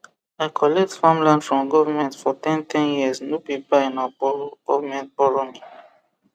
i collect farmland from government for ten ten years no be buy na borrow borrow me